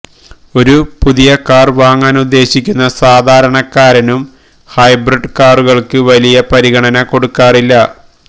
ഒരു പുതിയ കാര് വാങ്ങാനുദ്ദേശിക്കുന്ന സാധാരണക്കാരനും ഹൈബ്രിഡ് കാറുകള്ക്ക് വലിയ പരിഗണന കൊടുക്കാറില്ല